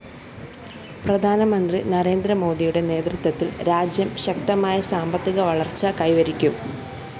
പ്രധാനമന്ത്രി നരേന്ദ്രമോദിയുടെ നേതൃത്വത്തില്‍ രാജ്യം ശക്തമായ സാമ്പത്തിക വളര്‍ച്ച കൈവരിക്കും